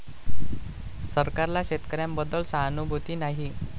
सरकारला शेतकऱ्यांबद्दल सहानुभूती नाही'